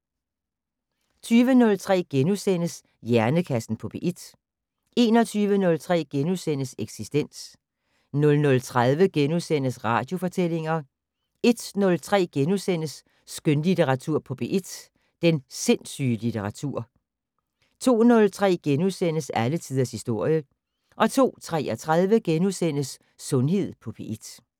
20:03: Hjernekassen på P1 * 21:03: Eksistens * 00:30: Radiofortællinger * 01:03: Skønlitteratur på P1: Den sindssyge litteratur * 02:03: Alle tiders historie * 02:33: Sundhed på P1 *